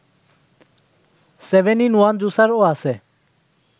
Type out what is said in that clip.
seven in ওয়ানজুসারও আছে